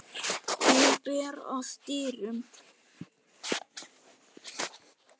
Hún ber að dyrum.